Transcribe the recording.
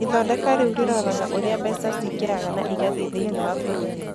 Ithondeka rĩu rĩroraga ũrĩa mbeca ciingĩraga na igathiĩ thĩinĩ wa bũrũri.